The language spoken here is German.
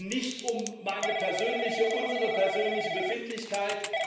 Es geht nicht um meine persönliche, unsere persönliche Befindlichkeit.